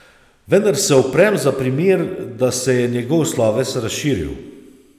Vendar se uprem za primer, da se je njegov sloves razširil.